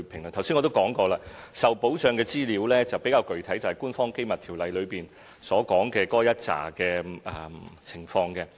我剛才也說過，受保障的資料比較具體，就是《條例》所列的一系列情況。